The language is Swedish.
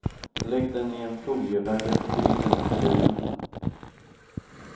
Lägg den i en folievagga på grillen eller i ugnen.